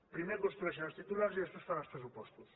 primer construeixen els titulars i després fan els pressupostos